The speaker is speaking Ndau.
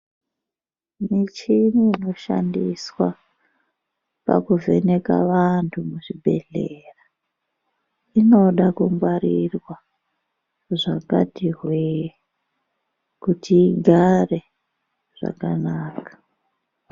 Muchini inoshandiswa pakuvheneka vantu muzvibhedhlera inoda kungwarirwa zvakati hwee kuti igare zvakanaka .